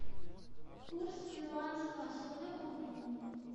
курс перуанского соля к рублю